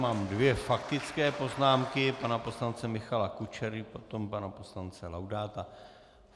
Mám dvě faktické poznámky - pana poslance Michala Kučery, potom pana poslance Laudáta.